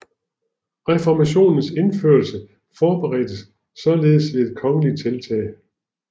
Reformationens indførelse forberedtes således ved et kongeligt tiltag